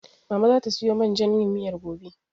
Mama zata siyo man jan yin miyar gobe.